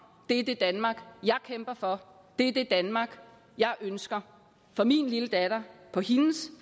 det er det danmark jeg kæmper for det er det danmark jeg ønsker for min lille datter på hendes